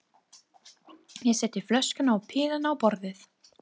Ég setti flöskuna og pelann á borðið.